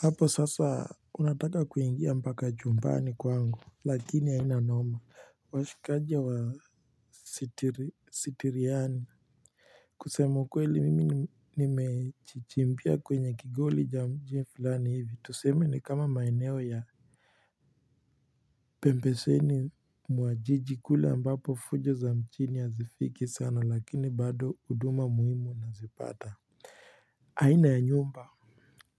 Hapo sasa unataka kuingia mpaka chumbani kwangu lakini haina noma washikaji wa sitiriani kusema ukweli mimi nimejichimbia kwenye kigoli cha mji fulani hivi tuseme ni kama maeneo ya pembeseni mwa jiji kule ambapo fujo za mjini hazifiki sana lakini bado huduma muhimu nazipata aina ya nyumba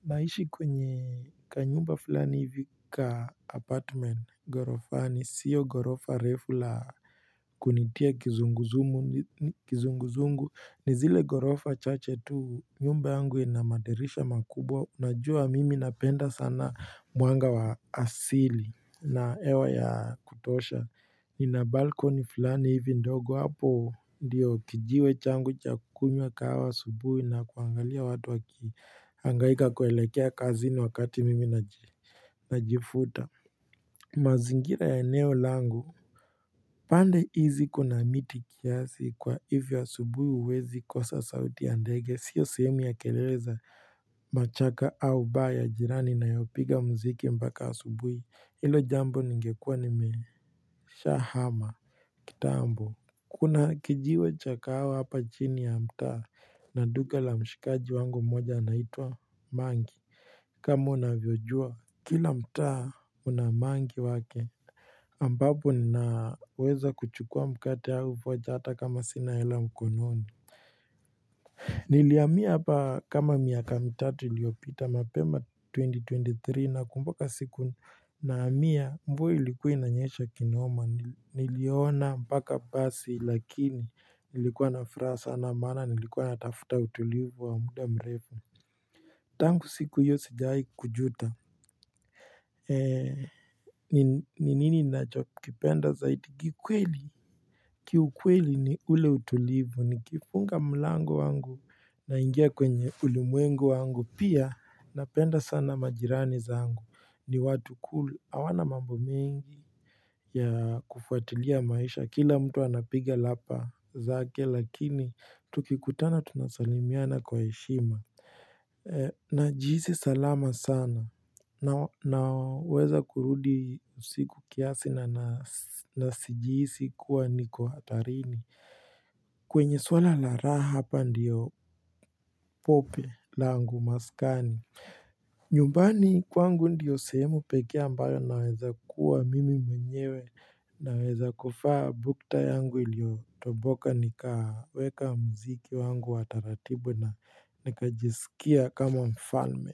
naishi kwenye kanyumba fulani hivi ka apartment gorofani sio gorofa refu la kunitia kizunguzungu kizunguzungu ni zile gorofa chache tu nyumba yangu ina madirisha makubwa Najua mimi napenda sana mwanga wa asili na hewa ya kutosha ina balcony fulani hivi ndogo hapo ndiyo kijiwe changu cha kukunywa kahawa asubuhi na kuangalia watu waki hangaika kuelekea kazini wakati mimi najifuta mazingira ya eneo langu pande hizi kuna miti kiasi kwa hivo asubuhi huwezi kosa sauti ya ndege sio sehemu ya kelele za machaka au baa ya jirani inayopiga muziki mpaka asubuhi hilo jambo ningekuwa nimesha hama kitambo Kuna kijiwe cha kahawa hapa chini ya mtaa na duka la mshikaji wangu mmoja anaitwa mangi kama unavyojua kila mtaa una mangi wake ambapo naweza kuchukua mkate au vocha hata kama sina hela mkononi Nilihamia hapa kama miaka mitatu iliyopita mapema 2023 nakumbuka siku nahamia mvua ilikuwa inanyesha kinoma. Niliona mpaka basi lakini ilikuwa na furaha sana maana nilikuwa natafuta utulivu wa muda mrefu. Tangu siku hiyo sijai kujuta. Ni nini nachokipenda zaidi kikweli. Kiukweli ni ule utulivu. Nikifunga mlango wangu naingia kwenye ulimwengu wangu. Pia napenda sana majirani zangu. Ni watu cool hawana mambo mengi ya kufuatilia maisha Kila mtu anapiga lapa zake lakini tukikutana tunasalimiana kwa heshima Najihisi salama sana Naweza kurudi siku kiasi na nasijihisi kuwa niko hatarini kwenye swala la raha hapa ndiyo pope langu maskani nyumbani kwangu ndiyo sehemu peke ambayo naweza kuwa mimi mwenyewe naweza kuvaa bukta yangu iliyotoboka nikaweka muziki wangu wa taratibu na nikajiskia kama mfalme.